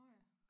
Nåh ja